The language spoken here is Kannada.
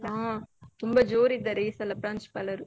ಹಾ, ತುಂಬ ಜೋರ್ ಇದ್ದಾರೆ ಈ ಸಲ ಪ್ರಾಂಶುಪಾಲರು.